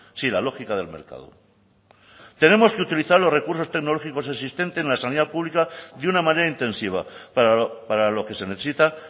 sí la lógica del mercado tenemos que utilizar los recursos tecnológicos existentes en la sanidad pública de una manera intensiva para lo que se necesita